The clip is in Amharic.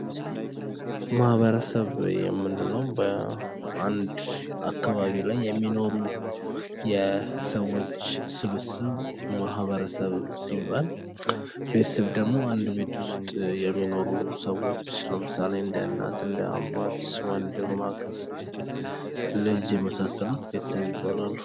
ማህበረሰብ የምንለው በአንድ አካባቢ ላይ የሚኖሩ የሰዎች ስብስብ ማህበረሰብ ሲባል ቤተሰብ ደግሞ አንድ ቤት ውስጥ የሚኖሩ ሰዎች ለምሳሌ አባት፣ እናት፣ እህት፣ ወንድም፣ አክስት፣ ልጅ የመሳሰሉት ቤተሰብ ይባላሉ።